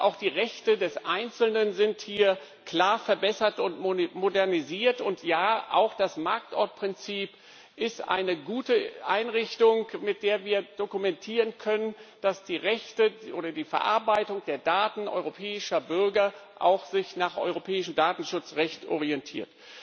Ja, auch die Rechte des Einzelnen sind hier klar verbessert und modernisiert, und ja, auch das Marktortprinzip ist eine gute Einrichtung, mit der wir dokumentieren können, dass die Verarbeitung der Daten europäischer Bürger sich auch an europäischem Datenschutzrecht orientiert.